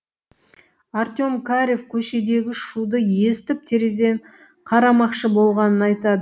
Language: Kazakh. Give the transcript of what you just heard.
артем карев көшедегі шуды естіп терезеден қарамақшы болғанын айтады